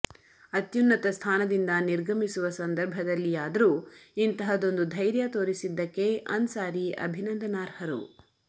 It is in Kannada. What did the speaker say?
ಅತ್ಯುನ್ನತ ಸ್ಥಾನದಿಂದ ನಿರ್ಗಮಿಸುವ ಸಂದರ್ಭದಲ್ಲಿಯಾದರೂ ಇಂತಹದೊಂದು ಧೈರ್ಯ ತೋರಿಸಿದ್ದಕ್ಕೆ ಅನ್ಸಾರಿ ಅಭಿನಂದನಾರ್ಹರು